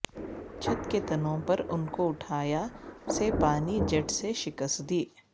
چھت کے تنوں پر ان کو اٹھایا سے پانی جیٹ سے شکست دی